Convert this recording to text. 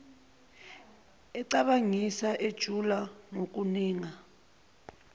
ecabangisisa ejula ngokuninga